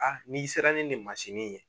A n'i sera ni nin mansinin in ye.